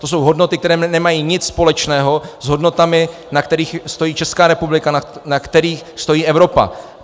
To jsou hodnoty, které nemají nic společného s hodnotami, na kterých stojí Česká republika, na kterých stojí Evropa.